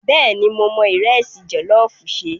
Bẹ́ẹ̀ni, mo mọ ìrẹsì jọ̀lọ́ọ̀fù ṣe.